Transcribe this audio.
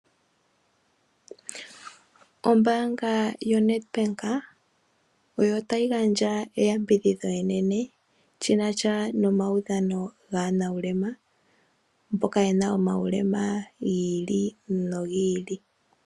Ombaanga yoNedbank oyo otayi gandja eyambidhidho enene, shina sha nomaudhano gaanuulema. Mboka ye na omaulema gi ili nogi ili.